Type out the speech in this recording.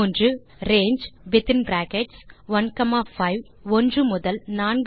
range within brackets 15 என்பது 1 முதல் 4 வரையான ஒரு இன்டிஜர்ஸ் லிஸ்ட் ஐ தரும்